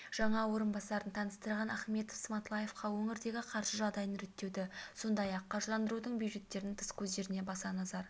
жаңа орынбасарын таныстырған ахметов сматлаевқа өңірдегі қаржы жағдайын реттеуді сондай-ақ қаржыландырудың бюджеттен тыс көздеріне баса назар